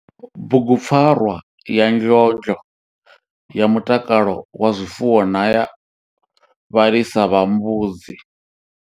Bugupfarwa ya ndlondlo ya mutakalo wa zwifuwo ya vhalisa vha mbudzi.